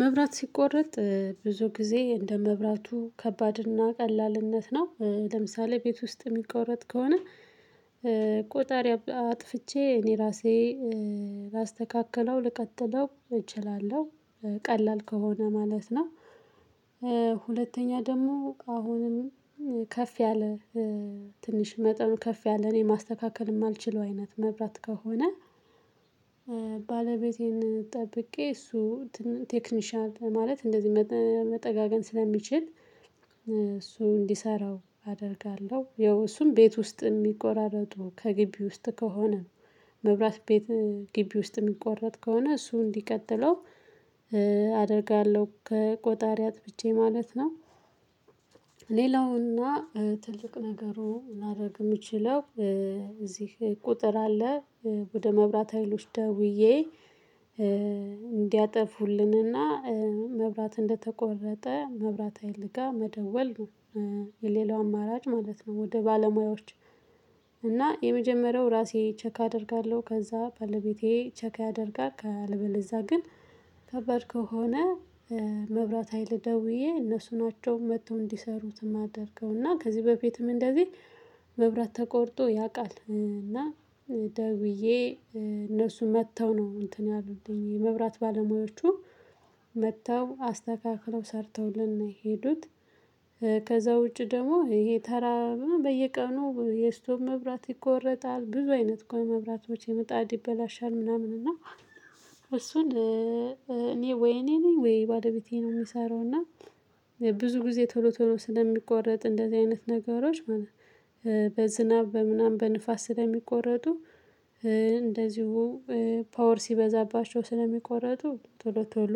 መብራት ሲቆረጥ ብዙ ጊዜ እንደ መብራቱ ከባድና ቀላልነት ነው ለምሳሌ ቤት ውስጥ የሚቆረጥ ከሆነ ቆጣሪ አጥፍቼ እኔ ራሴ ላስተካክለው ልቀጥለው እችላለሁ። ቀላል ከሆነ ማለት ነው። ሁለተኛ ደግሞ አሁንም ከፍ ያለ ትንሽ መጠኑ ከፍ ያለ እኔ ማስተካከል ማልችለው አይነት መብራት ከሆነ። ባለቤቴን ጠብቄ እሱ ቴክኒሻል ማለት እንደዚህ መጠጋገን ስለሚችል እሱ እንዲሰራው አደርጋለሁ ያው እሱም ቤት ውስጥ ሚቆራረጡ ከግቢ ውስጥ ከሆነ ነው። መብራት ቤት ግቢ ውስጥ ሚቆረጥ ከሆነ እሱ እንዲቀጥለው አደርጋለሁ ከቆጣሪ አጥብቼ ማለት ነው። ሌላውና ትልቅ ነገሩ ላደርግ የምችለው እዚህ ቁጥር አለ። ወደ መብራት ሀይሎች ደውዬ እንዲያጠፉልንና መብራት እንደተቆረጠ መብራት ሀይል ጋር መደወል ነው። የሌላው አማራጭ ማለት ነው። ወደ ባለሙያዎች እና የመጀመሪያው ራሴ ቼክ አደርጋለሁ ከዛ ባለቤቴ ቼክ ያደርጋል። ካለበለዝያ ግን ከባድ ከሆነ። መብራት ሀይል ደውዬ እነሱ ናቸው መጥተው እንዲሰሩት የማደርገው እና ከዚህ በፊትም እንደዚህ መብራት ተቆርጦ ያውቃል። እና ደውዬ እነሱ መጥተው ነው እንትን ያሉት የመብራት ባለሙያዎቹ መጥተው አስተካክለው ሰርተውል ነው የሄዱት። ከዛ ውጪ ደግሞ ይሄ ተራ በየቀኑ የስቶብ መብራት ይቆረጣል ብዙ አይነት ቆይ መብራቶች ይመጣል ይበላሻል። ምናምን እና እሱን እኔ ወይ እኔ ነኝ ወይ ባለቤቴ ነው የሚሰራው። እና ብዙ ጊዜ ቶሎ ቶሎ ስለሚቆረጥ እንደዚህ አይነት ነገሮች ማለት በዝናብ በምናምን በንፋስ ስለሚቆረጡ። እንደዚሁ ፓወር ሲበዛባቸው ስለሚቆረጡ ቶሎ ቶሎ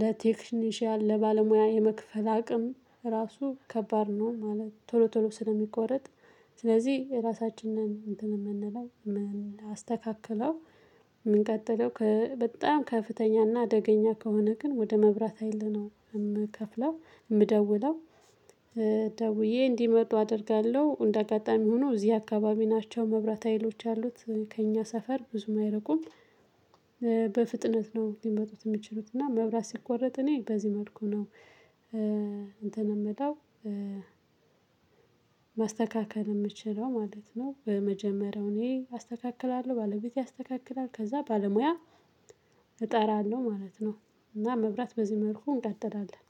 ለቴክኒሻል ለባለሙያ የመክፈል አቅም ራሱ ከባድ ነው። ማለት ቶሎ ቶሎ ስለሚቆረጥ። ስለዚህ ራሳችን ነን እንትን የምንለው ምናስተካክለው ምንቀጥለው በጣም ከፍተኛና አደገኛ ከሆነ ግን ወደ መብራት ሀይል ነው የምከፍለው። የምደውለው ደውዬ እንዲመጡ አደርጋለሁ እንደ አጋጣሚ ሆኖ እዚህ አካባቢ ናቸው መብራት ሀይሎች ያሉት ከእኛ ሰፈር ብዙም አይርቁም። በፍጥነት ነው ሊመጡት የሚችሉት እና መብራት ሲቆረጥ እኔ በዚህ መልኩ ነው። እንትን የምለው። ማስተካከል የምችለው ማለት ነው በመጀመሪያው እኔ አስተካክላለሁ ባለቤቴ ያስተካክላል ከዛ ባለሙያ እጠራለሁ ማለት ነው። እና መብራት በዚህ መልኩ እንቀጥላለን